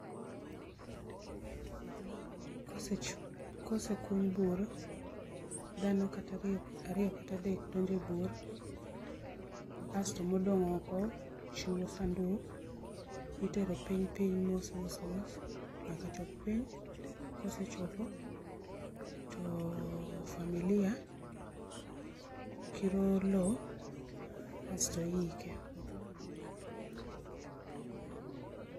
Kose chu, kosekuny bur, dhano kata ariyo kata adek donje bur asto modong oko chiwo sanduk itero piny piny mos mos mos nyaka chop piny, kosechopo to familia kiro loo, asto iike